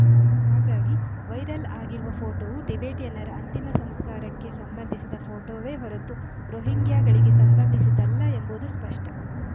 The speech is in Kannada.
ಹಾಗಾಗಿ ವೈರಲ್‌ ಆಗಿರುವ ಫೋಟೋವು ಟಿಬೆಟಿಯನ್ನರ ಅಂತಿಮ ಸಂಸ್ಕಾರಕ್ಕೆ ಸಂಬಂಧಿಸಿದ ಫೋಟೋವೇ ಹೊರತು ರೋಹಿಂಗ್ಯಾಗಳಿಗೆ ಸಂಬಂಧಿಸಿದ್ದಲ್ಲ ಎಂಬುದು ಸ್ಪಷ್ಟ